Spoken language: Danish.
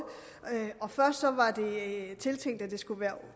først var det tiltænkt at det skulle være